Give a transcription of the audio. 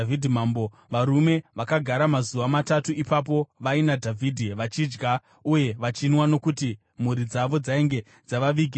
Varume vakagara mazuva matatu ipapo vaina Dhavhidhi vachidya uye vachinwa nokuti mhuri dzavo dzainge dzavavigira zvokudya.